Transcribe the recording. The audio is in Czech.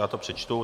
Já to přečtu.